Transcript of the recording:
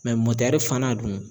mɔtɛri fana dun